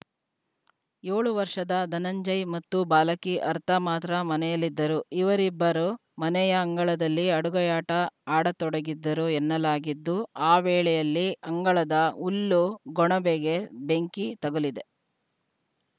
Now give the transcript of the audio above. ಏಳು ವರ್ಷದ ಧನಂಜಯ ಮತ್ತು ಬಾಲಕಿ ಅರ್ಥ ಮಾತ್ರ ಮನೆಯಲ್ಲಿದ್ದರು ಇವರಿಬ್ಬರು ಮನೆಯ ಅಂಗಳದಲ್ಲಿ ಅಡುಗೆಯಾಟ ಆಡತೊಡಗಿದ್ದರು ಎನ್ನಲಾಗಿದ್ದು ಆ ವೇಳೆಯಲ್ಲಿ ಅಂಗಳದ ಹುಲ್ಲು ಗೊಣಬೆಗೆ ಬೆಂಕಿ ತಗುಲಿದೆ